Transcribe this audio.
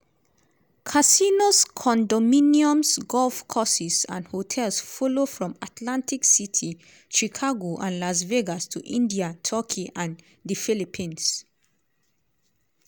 casinos condominiums golf courses and hotels follow from atlantic city chicago and las vegas to india turkey and di philippines.